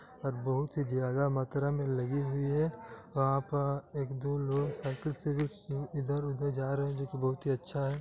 और बहुत ही ज्यादा मात्रा में लगी हुई है वहाँ पर एक दो लोग साइकिल से इधर-उधर जा रहे हैं जो कि बहुत ही अच्छा है।